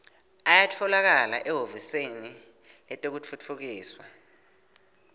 ayatfolakala ehhovisi letekutfutfukiswa